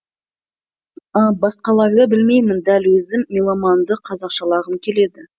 басқаларды білмеймін дәл өзім меломанды қазақшалағым келеді